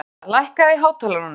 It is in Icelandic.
Ragna, lækkaðu í hátalaranum.